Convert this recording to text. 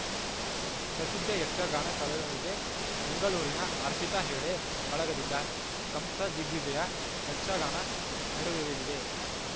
ಪ್ರಸಿದ್ಧ ಯಕ್ಷಗಾನ ಕಲಾವಿದೆ ಬೆಂಗಳೂರಿನ ಅರ್ಪಿತಾ ಹೆಗ್ಡೆ ಬಳಗದಿಂದ ಕಂಸದಿಗ್ವಿಜಯ ಯಕ್ಷಗಾನ ನೆರವೇರಲಿದೆ